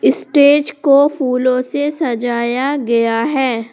Stage को फूलों से सजाया गया है।